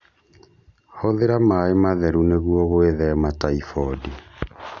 Hũthĩra maĩ matheru nĩguo gwĩthema taifondi.